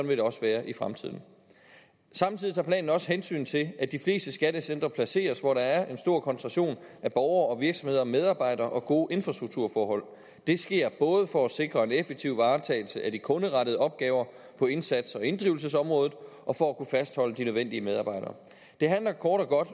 vil det også være i fremtiden samtidig tager planen også hensyn til at de fleste skattecentre placeres hvor der er en stor koncentration af borgere virksomheder og medarbejdere og gode infrastrukturforhold det sker både for at sikre en effektiv varetagelse af de kunderettede opgaver på indsats og inddrivelsesområdet og for at kunne fastholde de nødvendige medarbejdere det handler kort og godt